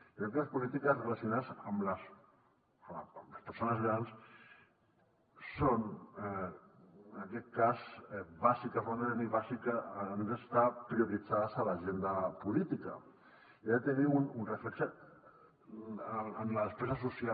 crec que les polítiques relacionades amb les persones grans són en aquest cas bàsiques han d’estar prioritzades a l’agenda política i han de tenir un reflex en la despesa social